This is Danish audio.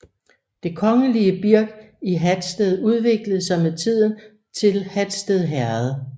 Det kongelige birk i Hatsted udviklede sig med tiden til Hatsted Herred